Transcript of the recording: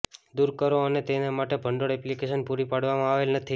દૂર કરો અને તેને માટે ભંડોળ એપ્લિકેશન પૂરી પાડવામાં આવેલ નથી